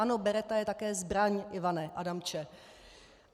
Ano, beretta je také zbraň, Ivane Adamče.